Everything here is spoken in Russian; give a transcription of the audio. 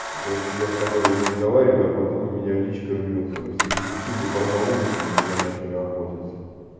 и короче я с тобой разговариваю а потом у меня личка рвётся все девчули барнаула что-ли на меня начали охотиться